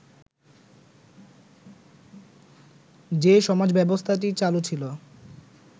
যে সমাজব্যবস্থাটি চালু ছিল